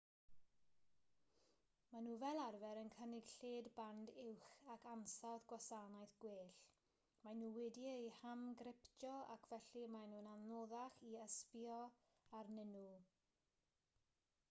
maen nhw fel arfer yn cynnig lled band uwch ac ansawdd gwasanaeth gwell maen nhw wedi'u hamgryptio ac felly maen nhw'n anoddach i ysbïo arnyn nhw